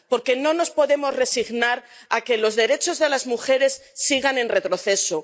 Porque no nos podemos resignar a que los derechos de las mujeres sigan en retroceso.